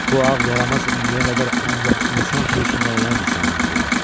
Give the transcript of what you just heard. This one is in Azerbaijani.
Bu ağ yaramaz indiyə qədər ancaq insan sürüsündən olan insanları görüb.